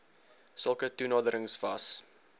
sulke toenaderings was